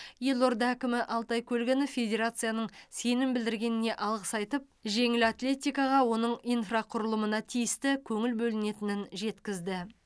елорда әкімі алтай көлгінов федерацияның сенім білдіргеніне алғыс айтып жеңіл атлетикаға оның инфрақұрылымына тиісті көңіл бөлінетінін жеткізді